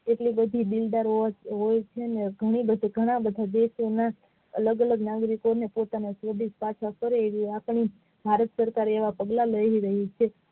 એટલી બધી દિલદાર હોય છે અને ઘણા બધા દેશો માં અલગ અલગ નાગરિકો ને પોતાના દેશ પાછા ફરેએવી આપણી ભારત સરકાર એવા પગલાં લઈ રહી છે.